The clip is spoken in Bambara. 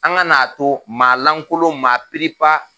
An ka n'a to maa lankolon maa pp